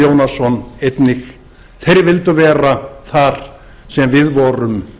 jónasson einnig þeir vildu vera þar sem við vorum